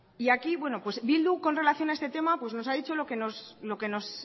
y aquí bildu con relación a este tema nos ha dicho lo que nos